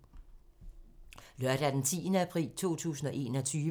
Lørdag d. 10. april 2021